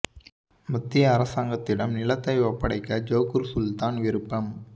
மத்திய அரசாங்கத்திடம் நிலத்தை ஒப்படைக்க ஜோகூர் சுல்தான் விருப்பம்